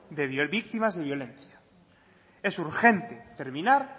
víctimas de violencia es urgente terminar